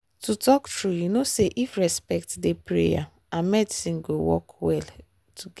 to talk true you know say if respect dey prayer and medicine go work well together.